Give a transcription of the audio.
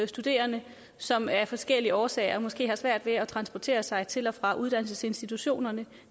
studerende som af forskellige årsager måske har svært ved at transportere sig til og fra uddannelsesinstitutionerne